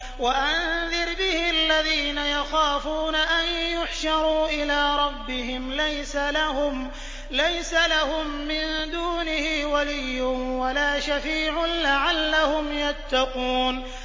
وَأَنذِرْ بِهِ الَّذِينَ يَخَافُونَ أَن يُحْشَرُوا إِلَىٰ رَبِّهِمْ ۙ لَيْسَ لَهُم مِّن دُونِهِ وَلِيٌّ وَلَا شَفِيعٌ لَّعَلَّهُمْ يَتَّقُونَ